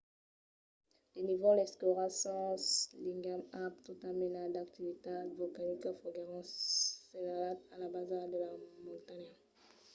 de nívols escuras sens ligam amb tota mena d'activitat volcanica foguèron senhalats a la basa de la montanha